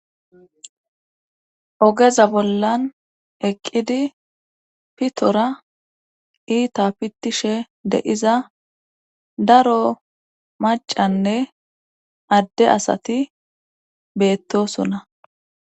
Ogeza bollan eqqidi pitora iita pitishe deiza daro macanne adde asati beettosona.